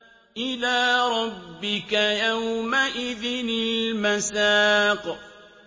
إِلَىٰ رَبِّكَ يَوْمَئِذٍ الْمَسَاقُ